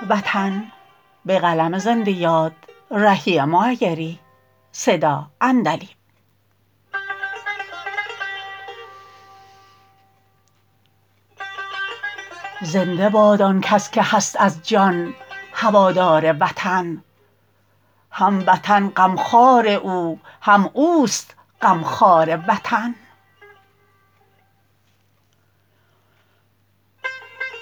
زنده باد آن کس که هست از جان هوادار وطن هم وطن غمخوار او هم اوست غمخوار وطن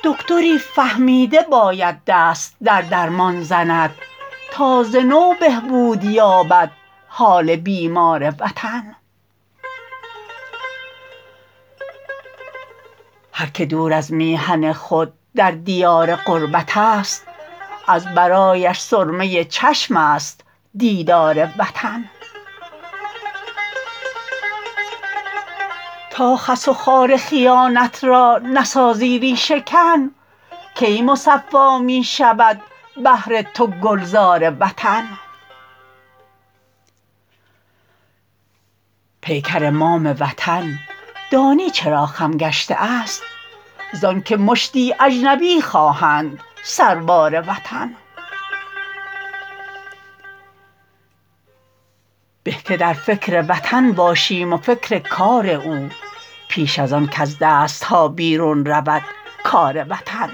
دکتری فهمیده باید دست در درمان زند تا ز نو بهبود یابد حال بیمار وطن هرکه دور از میهن خود در دیار غربت است از برایش سرمه چشم است دیدار وطن تا خس و خار خیانت را نسازی ریشه کن کی مصفا می شود بهر تو گلزار وطن پیکر مام وطن دانی چرا خم گشته است زان که مشتی اجنبی خواه اند سربار وطن به که در فکر وطن باشیم و فکر کار او پیش از آن کز دست ها بیرون رود کار وطن